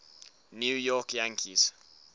new york yankees